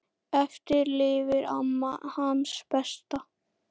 Eftir lifir amma, hans besta.